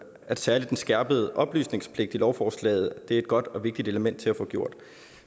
at særlig den skærpede oplysningspligt i lovforslaget er et godt og vigtigt element i at få gjort